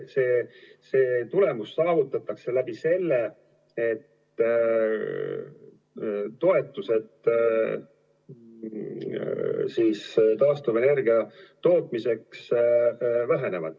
See tulemus saavutatakse läbi selle, et taastuvenergia tootmise toetused vähenevad.